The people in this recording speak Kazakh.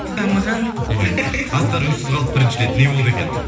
дамыған мхм асқар үнсіз қалды бірінші рет не болды екен